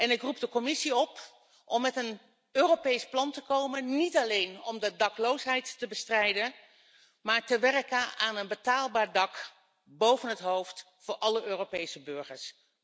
Ik roep de Commissie op om met een Europees plan te komen, niet alleen om de dakloosheid te bestrijden, maar om te werken aan een betaalbaar dak boven het hoofd, voor alle Europese burgers.